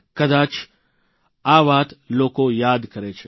કદાચ જ આ વાત લોકો યાદ કરે છે